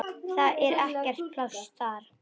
Það er ekkert pláss þar.